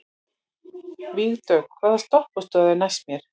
Vígdögg, hvaða stoppistöð er næst mér?